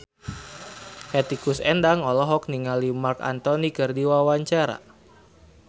Hetty Koes Endang olohok ningali Marc Anthony keur diwawancara